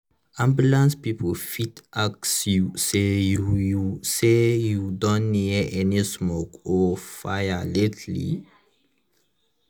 ambulance people fit ask you say you you say you don near any smoke or fire lately?